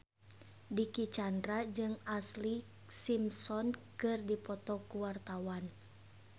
Dicky Chandra jeung Ashlee Simpson keur dipoto ku wartawan